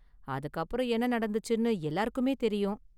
அதுக்கு அப்பறம் என்ன நடந்துச்சுன்னு எல்லாருக்குமே தெரியும்!